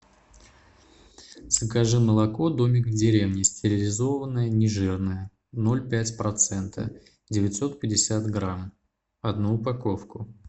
закажи молоко домик в деревне стерилизованное нежирное ноль пять процента девятьсот пятьдесят грамм одну упаковку